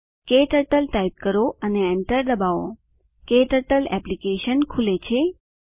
ક્ટર્ટલ type કરો અને enter ડબાઓ ક્ટર્ટલ એપ્લીકેશન ખુલે છે